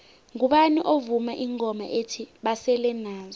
ngubani ovuma ingoma ethi basele nazo